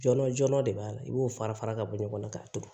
Jɔnɔn jɔnjɔn de b'a la i b'o fara fara ka bɔ ɲɔgɔn na k'a turu